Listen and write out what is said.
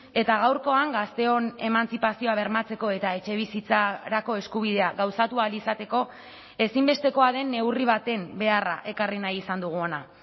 eta gaurkoan gazteon emantzipazioa bermatzeko eta etxebizitzarako eskubidea gauzatu ahal izateko ezinbestekoa den neurri baten beharra ekarri nahi izan dugu hona